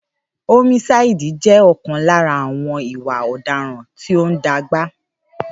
Ómísáídì jẹ́ ọ̀kan lára àwọn ìwà ọ̀daràn tí óún dàgbà